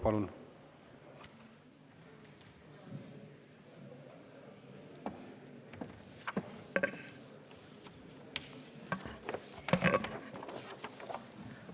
Palun!